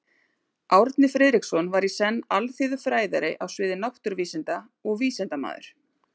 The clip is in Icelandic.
Árni Friðriksson var í senn alþýðufræðari á sviði náttúruvísinda og vísindamaður.